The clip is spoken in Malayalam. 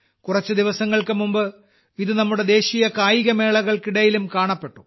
കുറച്ചു ദിവസങ്ങൾക്കുമുമ്പ് ഇത് നമ്മുടെ ദേശീയകായിക മേളകൾക്കിടയിലും കാണപ്പെട്ടു